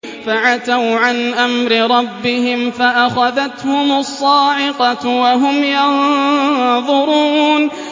فَعَتَوْا عَنْ أَمْرِ رَبِّهِمْ فَأَخَذَتْهُمُ الصَّاعِقَةُ وَهُمْ يَنظُرُونَ